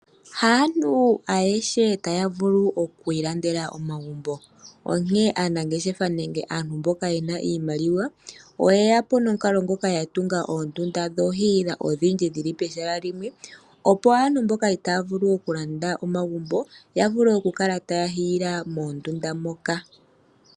Haantu ayehe taya vulu oku ilandela omagumbo. Onkene aanangeshefa nenge aantu mboka ye na iimaliwa oye ya po nomukalo ngoka ya tunga oondunda dhokuhiila odhindji dhi li pehala limwe, opo aantu mboka itaya vulu okulanda omagumbo ya vule okukala taya hiila moondunda moka.